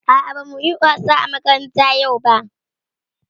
A'a bamu yi wasa a makaranta yau ba.